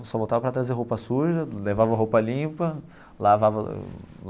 Só voltava para trazer roupa suja, levava roupa limpa, lavava.